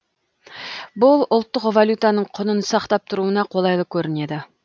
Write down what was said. бұл ұлттық валютаның құнын сақтап тұруына қолайлы көрінеді